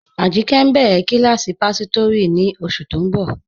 Ajìnkẹ́ ǹ béré kílásí páṣọtírí ní oṣù tó ǹ bọ.